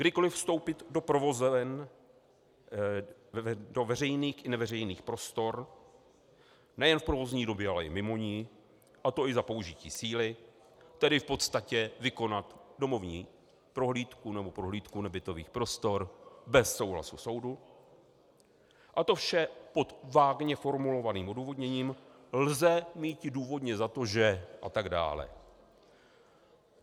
Kdykoliv vstoupit do provozoven, do veřejných i neveřejných prostor nejen v provozní době, ale i mimo ni, a to i za použití síly, tedy v podstatě vykonat domovní prohlídku nebo prohlídku nebytových prostor bez souhlasu soudu, a to vše pod vágně formulovaným odůvodněním - lze míti důvodně za to, že... a tak dále.